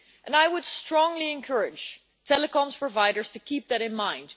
I would strongly encourage telecom providers to keep that in mind.